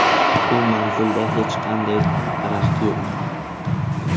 U manzilda hech qanday daraxt yo‘q.